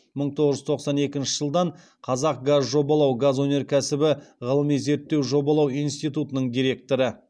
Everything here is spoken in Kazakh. мың тоғыз жүз тоқсан екінші жылдан қазақгазжобалау газ өнеркәсібі ғылыми зерттеу жобалау институтының директоры